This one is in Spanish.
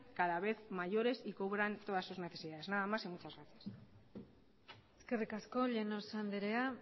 cada vez mayores y cubran cada vez todas sus necesidades nada más y muchas gracias eskerrik asko llanos andrea